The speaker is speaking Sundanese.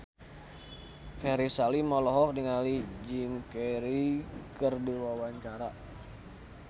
Ferry Salim olohok ningali Jim Carey keur diwawancara